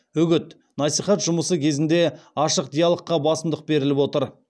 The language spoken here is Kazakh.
үгіт насихат жұмысы кезінде ашық диалогқа басымдық беріліп отыр